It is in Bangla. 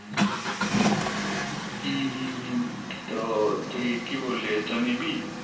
হুম হুম হুম তো তুই কি বললি এটা নিবি